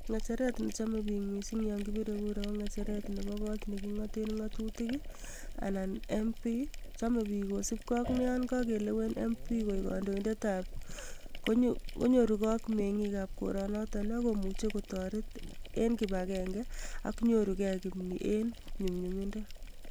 Ngecheret ne chome bik missing yon kibire kura ko ngecheret nebo kot ne kingote ngatutik ii anan mp chome bik kosibgei yon kakelewen mp koek kandoindetab konyorugei ak mengikab koronoto ak komuch kotoret eng kibagenge ak nyoru gei kimni eng nyumnyumindo.